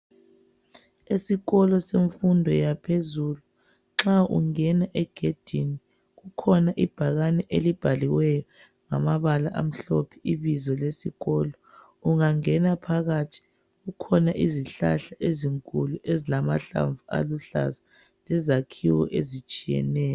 Esikolo semfundo yaphezulu nxa ungena egedini kukhona ibhakane elibhaliwe ngamabala amhlophe ibizo lesikolo. Ungangena phakathi kukhona izihlahla ezinkulu ezilamahlamvu aluhlaza lezakhiwo ezitshiyeneyo.